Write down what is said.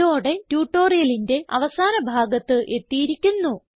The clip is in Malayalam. ഇതോടെ ട്യൂട്ടോറിയലിന്റെ അവസാന ഭാഗത്ത് എത്തിയിരിക്കുന്നു